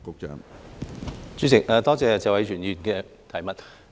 主席，多謝謝偉銓議員的補充質詢。